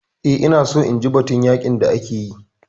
Eh, ina so inji batun yaƙin da ake yi